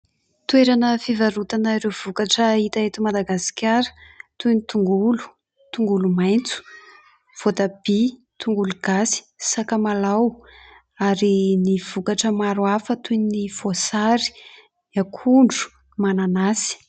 Toerana fivarotana ireo vokatra hita eto Madagasikara toy ny tongolo, tongolo maitso, voatabia, tongolo gasy, sakamalao ary ny vokatra maro hafa toy ny voasary, ny akondro, mananasy.